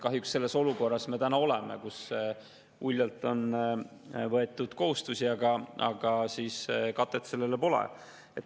Kahjuks me oleme olukorras, kus kohustusi on uljalt võetud, aga katet neile pole.